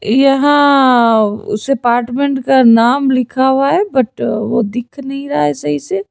यहां उस अपार्टमेंट का नाम लिखा हुआ है बट वह दिख नहीं रहा है सही से।